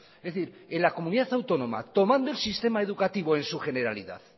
es decir en la comunidad autónoma tomando el sistema educativo en su generalidad